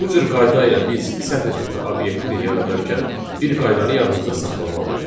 Bu cür qayda ilə biz sətir tipli obyekti yaradarkən, bir qaydanı yadımızda saxlamalıyıq.